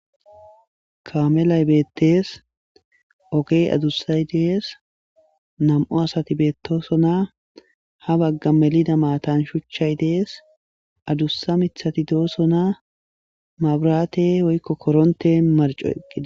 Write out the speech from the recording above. kamelay beettees. Ogey adussaydees nam7o asati beettoosona. Ha bagga melida maatan shuchchay dees. Adussa mithati doosona. Mabraate woykko korontte marccoqi